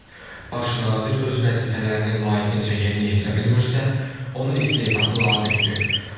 Baş nazir öz vəzifələrini layiqincə yerinə yetirə bilmirsə, onun istefası labüddür.